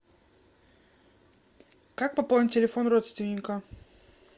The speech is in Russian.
как пополнить телефон родственника